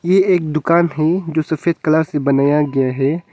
ये एक दुकान है जो सफेद कलर से बनाया गया है।